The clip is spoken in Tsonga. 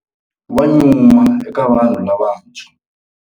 Wa nyuma eka vanhu lavantshwa.